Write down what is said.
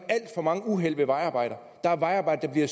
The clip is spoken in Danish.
for mange uheld ved vejarbejder der er vejarbejdere der